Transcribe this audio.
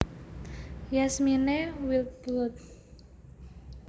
Yasmine Wildblood